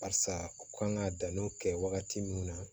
Barisa u kan ka danniw kɛ wagati min na